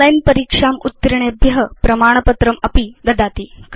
online परीक्षाम् उत्तीर्णेभ्य प्रमाणपत्रमपि ददाति